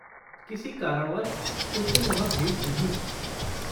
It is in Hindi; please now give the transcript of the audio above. किसी कारणवश उस दिन वहाँ भीड़ नहीं थी।